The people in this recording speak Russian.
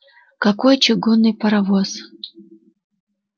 какой чугунный паровоз